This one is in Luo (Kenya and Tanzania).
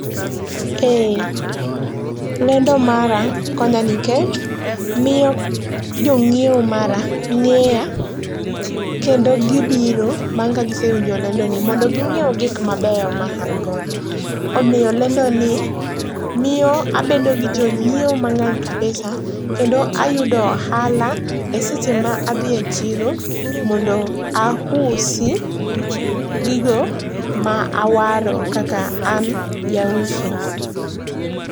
Ee, lendo mara konya nikech, miyo jongíewo mara ngéya, kendo gibiro bang' ka gisewinjo lendo ni, mondo gi ngíew gik mabeyo maangodo. Omiyo lendoni miyo abedo gi jongíewo mangény kabisa, kendo ayudo ohala e seche ma adhi e chiro mondo ausi gigo ma awaro kaka an jauso.